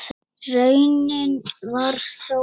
Raunin varð þó önnur.